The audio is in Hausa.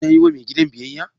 Yana yi wa mai gidan biyayya?